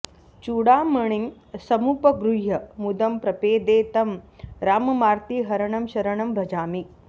चूडामणिं समुपगृह्य मुदं प्रपेदे तं राममार्तिहरणं शरणं भजामि